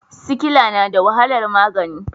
Sikila na da wahalar magani.